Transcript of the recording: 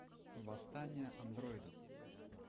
восстание андроидов